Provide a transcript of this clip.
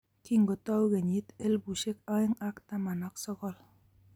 kingotou kenyit elbushek aeng ak taman ak sogol